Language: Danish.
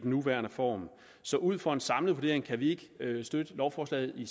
nuværende form så ud fra en samlet vurdering kan vi ikke støtte lovforslaget i